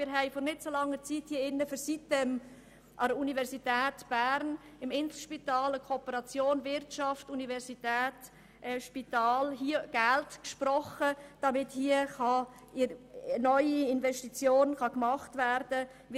Wir haben hier drin vor nicht allzu langer Zeit für eine Kooperation zwischen Inselspital, Wirtschaft und Universität Geld gesprochen, damit neue Investitionen getätigt werden können.